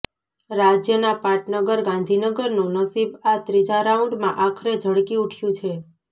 રાજ્યના પાટનગર ગાંધીનગરનું નસીબ આ ત્રીજા રાઉન્ડમાં આખરે ઝળકી ઉઠયું છે